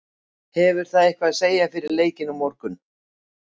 Hefur það eitthvað að segja fyrir leikinn á morgun?